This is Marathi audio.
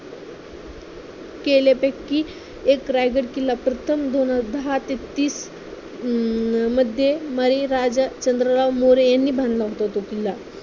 केल्यापैकी एक रायगड किल्ला प्रथम दोन दहा ते तीस अं मध्ये बळी राजा चंद्रराव मोरे यांनी बांधला होता, तो किल्ला